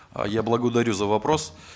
э я благодарю за вопрос